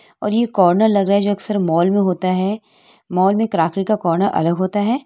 और ये कॉर्नर लग रहा है जो अक्सर मॉल मे होता है मॉल मे प्राकर्तिक कॉर्नर अलग होता है।